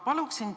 Palun!